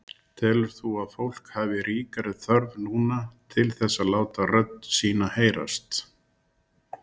Telur þú að fólk hafi ríkari þörf núna til þess að láta rödd sína heyrast?